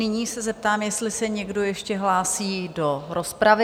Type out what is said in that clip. Nyní se zeptám, jestli se někdo ještě hlásí do rozpravy?